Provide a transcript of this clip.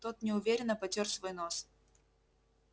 тот неуверенно потёр свой нос